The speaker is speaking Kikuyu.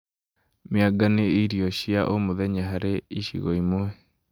Mĩanga nĩ irio cia o mũthenya harĩ icigo imwe